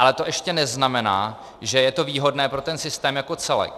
Ale to ještě neznamená, že je to výhodné pro ten systém jako celek.